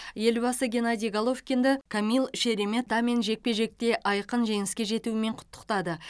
елбасы геннадий головкинді камил шереметамен жекпе жекте айқын жеңіске жетуімен құттықтады